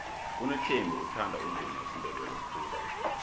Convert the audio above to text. unothembi uthanda umvumo wesindebele khulu